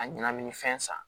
A ɲɛnamini fɛn san